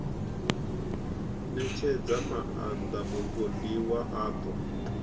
ṋetshedza maaṋda mupondiwa a ṱo